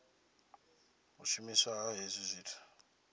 u shumiswa ha hezwi zwithu